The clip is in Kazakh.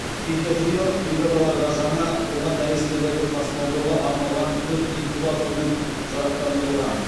педиатриялық бригадаларға жаңа туған нәрестелерді тасымалдауға арналған төрт инкубатормен жарақтандырылған